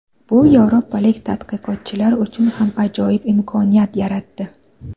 Bu yevropalik tadqiqotchilar uchun ham ajoyib imkoniyat yaratdi.